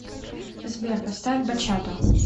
сбер поставь бачато